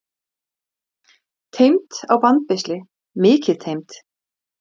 fell er heiti yfir fjall og er algengt örnefni